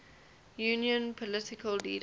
union political leaders